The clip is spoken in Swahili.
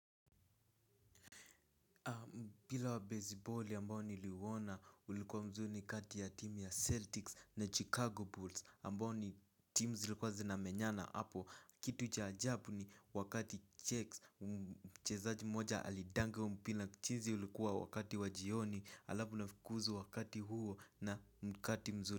Mpria wa besiboli ambao niliuona ulikuwa mzuri ni kati ya timu ya Celtics na Chicago Bulls ambao ni timu zilikuwa zinamenyana hapo. Kitu ucha ajabu ni wakati checks, mchezaji moja alidanga huo mpira, mchezo ulikuwa wakati wa jioni halafu unafukuzwa wakati huo na mkati mzuri.